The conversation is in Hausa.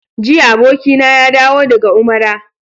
Jiya abokina ya dawo daga Umara.